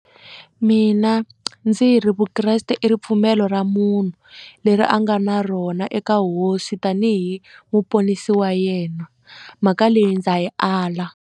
Mina ndzi ri vukreste i ripfumelo ra munhu leri a nga na rona eka hosi tanihi muponisi wa yena mhaka leyi ndza yi ala.